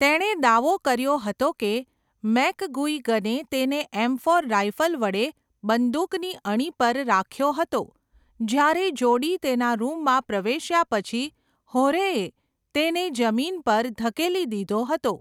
તેણે દાવો કર્યો હતો કે મેકગુઇગને તેને એમફોર રાઇફલ વડે બંદૂકની અણી પર રાખ્યો હતો જ્યારે જોડી તેના રૂમમાં પ્રવેશ્યા પછી હોરેએ તેને જમીન પર ધકેલી દીધો હતો.